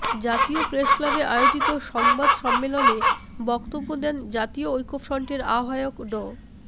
জাতীয় প্রেসক্লাবে আয়োজিত সংবাদ সম্মেলনে বক্তব্য দেন জাতীয় ঐক্যফ্রন্টের আহ্বায়ক ড